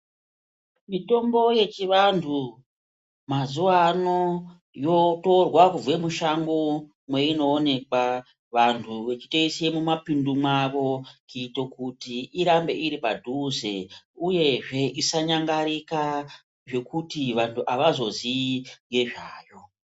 Mitombo yechivantu mazuvano yotorwa mushango meinoonekwa , vanhu vechi toise mumapindu mwavo kuita kuti irambe iri padhuze uyezve isanyangarika zvekuti antu avazoziyi ngezvayo.